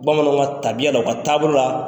Bamananw ka tabiya la u ka taabolo la,